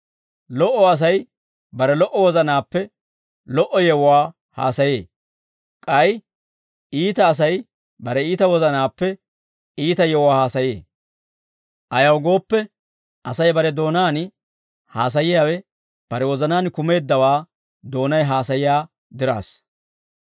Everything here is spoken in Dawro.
Lo"o Asay bare lo"o wozanaappe lo"o yewuwaa haasayee. K'ay iita Asay bare iita wozanaappe iita yewuwaa haasayee. Ayaw gooppe, Asay bare doonaan haasayiyaawe bare wozanaan kumeeddawaa doonay haasayiyaa diraassa.